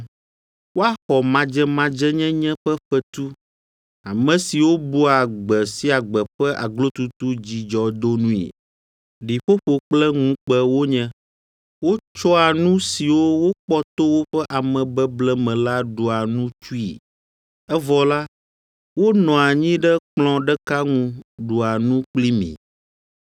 Woaxɔ madzemadzenyenye ƒe fetu: Ame siwo bua gbe sia gbe ƒe aglotutu dzidzɔdonui, ɖiƒoƒo kple ŋukpe wonye. Wotsɔa nu siwo wokpɔ to woƒe amebeble me la ɖua nu tsui; evɔ la, wonɔa anyi ɖe kplɔ̃ ɖeka ŋu ɖua nu kpli mi.